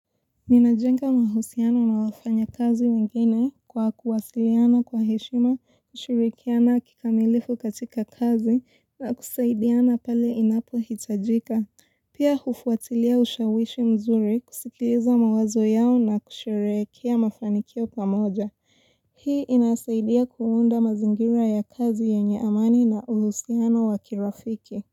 Ninajenga mahusiano na wafanya kazi wengine kwa kuwasiliana kwa heshima, kushirikiana kikamilifu katika kazi na kusaidiana pale inapohitajika. Pia hufuatilia ushawishi mzuri kusikiliza mawazo yao na kusherehekea mafanikio pamoja. Hii inasaidia kuunda mazingira ya kazi yenye amani na uhusiano wakirafiki.